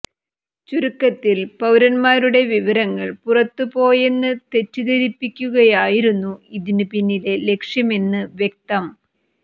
ചുരുക്കത്തിൽ പൌരന്മാരുടെ വിവരങ്ങൾ പുറത്തുപോയെന്ന് തെറ്റിദ്ധരിപ്പിക്കുകയായിരുന്നു ഇതിനു പിന്നിലെ ലക്ഷ്യമെന്ന് വ്യക്തം